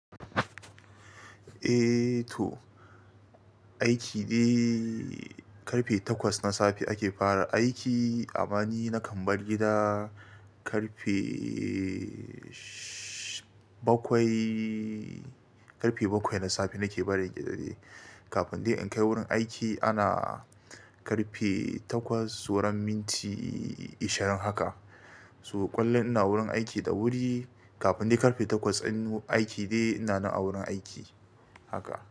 Eh to, aiki dai ƙarfe takwas na safe ake fara aiki. Amma ni na kam bar gida ƙarfe bakwai, ƙarfe bakwai na safe nake barin gida de. Kafin dai in kai wurin aiki ana ƙarfe takwas sauran minti ishirin haka. Su ƙullun ina wurin aiki da wuri. Kafin dai ƙarfe takwas in aiki dai ina nan a wurin aiki haka.